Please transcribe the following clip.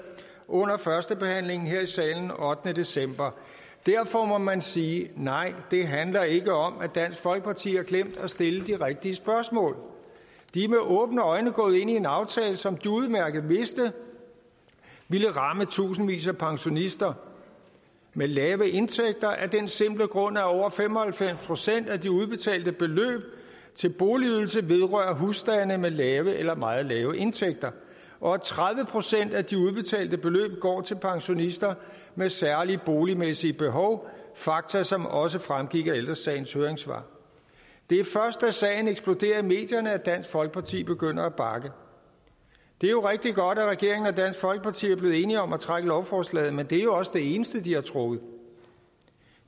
under førstebehandlingen her i salen den ottende december derfor må man sige nej det handler ikke om at dansk folkeparti har glemt at stille de rigtige spørgsmål de er med åbne øjne gået ind i en aftale som de udmærket vidste ville ramme tusindvis af pensionister med lave indtægter af den simple grund at over fem og halvfems procent af de udbetalte beløb til boligydelse vedrører husstande med lave eller meget lave indtægter og at tredive procent af de udbetalte beløb går til pensionister med særlige boligmæssige behov fakta som også fremgik af ældre sagens høringssvar det er først da sagen eksploderer i medierne at dansk folkeparti begynder at bakke det er rigtig godt at regeringen og dansk folkeparti er blevet enige om at trække lovforslaget men det er jo også det eneste de har trukket